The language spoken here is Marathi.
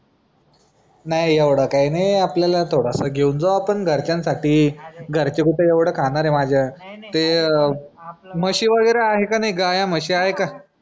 नाही एवढा काय नाही आपल्याला थोडासा घेऊन जाऊ आपण घरच्यांसाठी घरचे कुठे एवढा खाणारे माझ्या ते अह म्हशी वगैरे आहे की नाही गाया म्हशी आहे का?